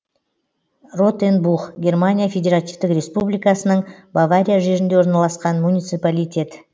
ротенбух германия федеративтік республикасының бавария жерінде орналасқан муниципалитет